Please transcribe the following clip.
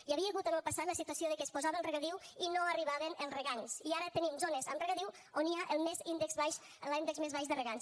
hi havia hagut en el passat la situació que es posava el regadiu i no arribaven els regants i ara tenim zones amb regadiu on hi ha l’índex més baix de regants